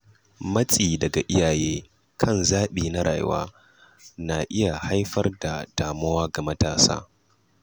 Matsi daga iyaye kan zabi na rayuwa na iya haifar da damuwa ga matasa.